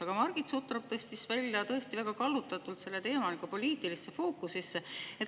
Aga Margit Sutrop tõstis tõesti väga kallutatult selle teema poliitilisse fookusesse.